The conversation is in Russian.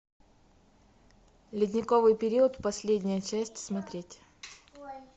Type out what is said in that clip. ледниковый период последняя часть смотреть